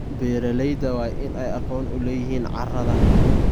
Beeralayda waa in ay aqoon u leeyihiin carrada.